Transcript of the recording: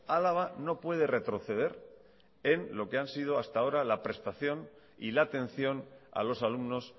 álava no puede retroceder en lo que han sido hasta ahora la prestación y la atención a los alumnos